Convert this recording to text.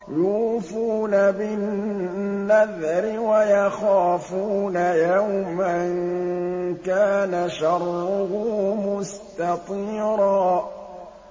يُوفُونَ بِالنَّذْرِ وَيَخَافُونَ يَوْمًا كَانَ شَرُّهُ مُسْتَطِيرًا